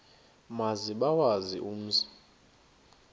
maze bawazi umzi